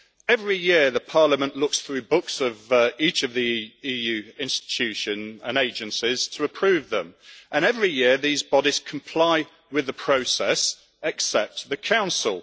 Every year, the Parliament looks through the books of each of the EU institutions and agencies to approve them, and every year, these bodies comply with the process, with the exception of the Council.